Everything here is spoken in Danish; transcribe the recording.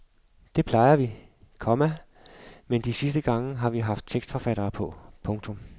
Det plejer vi, komma men de sidste gange har vi haft tekstforfattere på. punktum